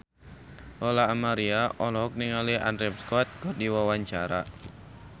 Lola Amaria olohok ningali Andrew Scott keur diwawancara